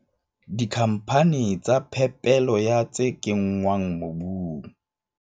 Dikhamphane tsa phepelo ya tse kenngwang mobung.